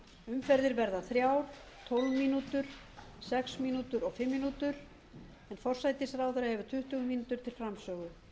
umferðir verði þrjár tólf mín sex mín og fimm mín en forsætisráðherra hefur tuttugu mín til framsögu